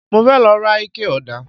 Mo fẹ́ lọ ra ikẹ ọ̀dà